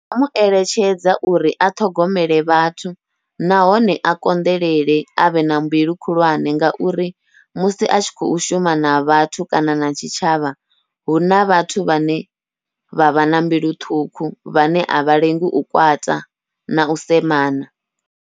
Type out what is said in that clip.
Ndi nga mueletshedza uri a ṱhogomele vhathu nahone a konḓelele avhe na mbilu khulwane, ngauri musi a tshi khou shuma na vhathu kana na tshitshavha huna vhathu vhane vha vha na mbilu ṱhukhu, vhane avha lengi u kwata nau semana.